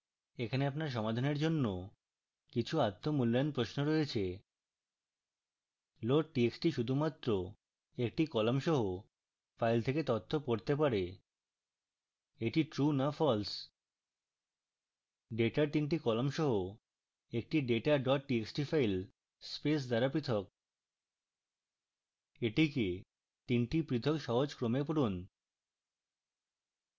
এখানে আপনার সমাধানের জন্য কিছু আত্ম মূল্যায়ন প্রশ্ন রয়েছে